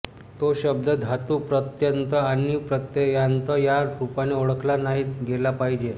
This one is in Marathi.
तो शब्द धातु प्रत्यय आणि प्रत्ययान्त या रूपाने ओळखला नाही गेला पाहिजे